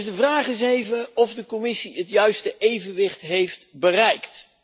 De vraag is dus of de Commissie het juiste evenwicht heeft bereikt.